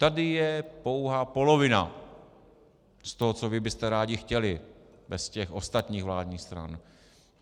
Tady je pouhá polovina z toho, co vy byste rádi chtěli bez těch ostatních vládních stran.